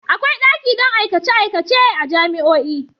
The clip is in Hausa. Akwai daki don aikace-aikacen a jami'o'i.